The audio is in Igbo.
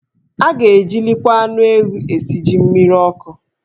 A ga-ejilikwa anụ ewu esi jí mmiriọkụ.